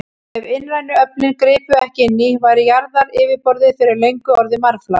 Ef innrænu öflin gripu ekki inn í, væri jarðaryfirborðið fyrir löngu orðið marflatt.